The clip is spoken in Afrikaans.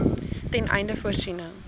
ten einde voorsiening